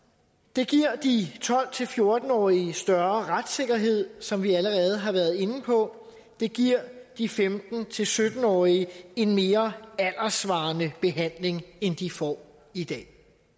det giver de tolv til fjorten årige større retssikkerhed som vi allerede har været inde på det giver de femten til sytten årige en mere alderssvarende behandling end de får i dag